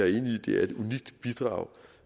i at det er et unikt bidrag